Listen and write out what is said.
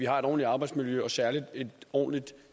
har et ordentligt arbejdsmiljø og særlig et ordentligt